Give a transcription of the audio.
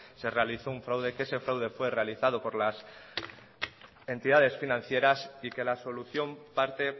se realizó un fraude que ese fraude fue realizado por las entidades financieras y que la solución parte